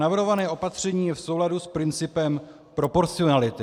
Navrhované opatření je v souladu s principem proporcionality.